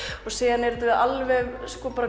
og síðan er þetta alveg